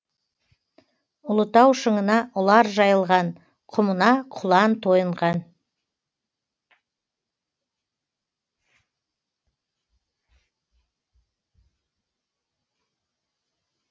ұлытау шыңына ұлар жайылған құмына құлан тойынған